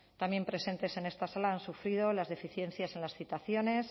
también presentes en esta sala han sufrido las deficiencias en las citaciones